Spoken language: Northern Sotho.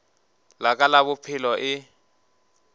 la ka la bophelo e